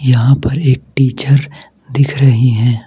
यहां पर एक टीचर दिख रही है।